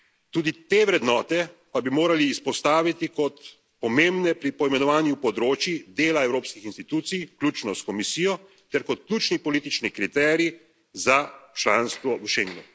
Tudi te vrednote pa bi morali izpostaviti kot pomembne pri poimenovanju področij dela evropskih institucij, vključno s Komisijo, ter kot ključni politični kriterij za članstvo v Schengnu.